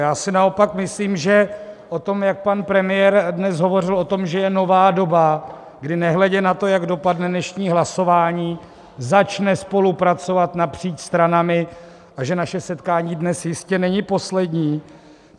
Já si naopak myslím, že o tom, jak pan premiér dnes hovořil o tom, že je nová doba, kdy nehledě na to, jak dopadne dnešní hlasování, začne spolupracovat napříč stranami a že naše setkání dnes jistě není poslední.